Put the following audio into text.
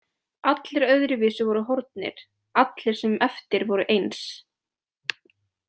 Allir öðruvísi voru horfnir, allir sem eftir voru eins.